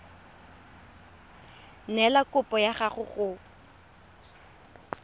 neela kopo ya gago go